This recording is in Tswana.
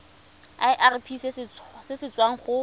irp se se tswang go